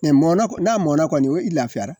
mɔna k n'a mɔna kɔni o i lafiyara